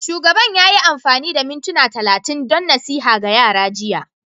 Shugaban ya yi amfani da mintuna talatin don nasiha ga yara jiya